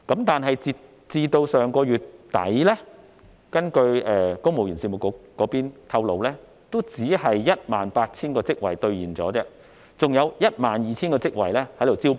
但是，截至上月底，根據公務員事務局透露，只有 18,000 個職位兌現，還有 12,000 個職位正在招聘。